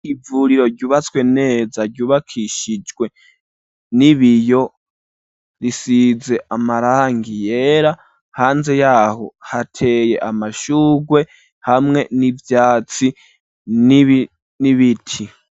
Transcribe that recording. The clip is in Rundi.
Ivuriro ryubatswe neza ryubakishijwe n'ibiyo risize amarangi yera, hanze yaho hateye amashugwe hamwe n'ivyatsi n'ibiti.